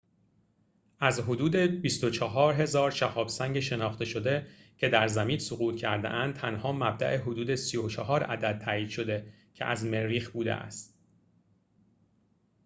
از حدود ۲۴۰۰۰ شهاب سنگ شناخته شده که در زمین سقوط کرده‌اند تنها مبدأ حدود ۳۴ عدد تائید شده که از مریخ بوده است